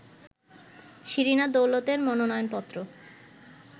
শিরিনা দৌলতের মনোনয়নপত্র